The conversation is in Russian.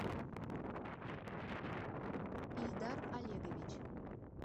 ильдар олегович